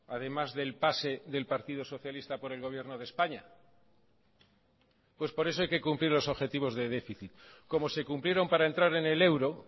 además del pase del partido socialista por el gobierno de españa pues por eso hay que cumplir los objetivos de déficit como se cumplieron para entrar en el euro